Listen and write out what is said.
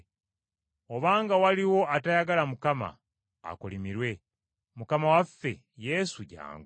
Obanga waliwo atayagala Mukama, akolimirwe. Mukama waffe Yesu, jjangu!